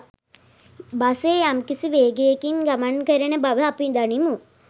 බසය යම්කිසි වේගයකින් ගමන් කරන බව අපි දනිමු.